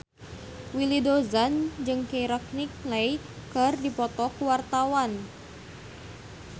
Willy Dozan jeung Keira Knightley keur dipoto ku wartawan